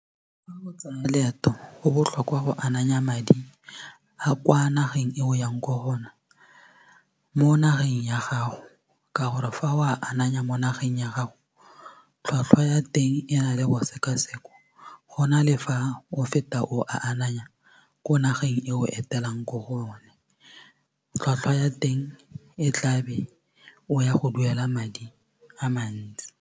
Fa o tsaya loeto go botlhokwa go ananya madi a kwa nageng e o yang kwa go yone mo nageng ya gago ka gore fa o a ananya mo nageng ya gago tlhwatlhwa ya teng e na le go sekasekwa go na le fa o feta o a ananya ko nageng e o etelang ko go yone tlhwatlhwa ya teng e tla be o ya go duela madi a mantsi.